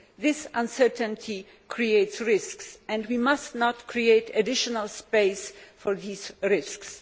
This uncertainty creates risks and we must not create additional space for these risks.